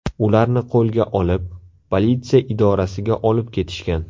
Ularni qo‘lga olib, politsiya idorasiga olib ketishgan.